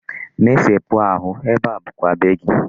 Mesepụ ahụ, ebe a bụkwa be gị.